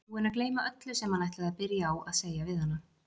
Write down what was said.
Búinn að gleyma öllu sem hann ætlaði að byrja á að segja við hana.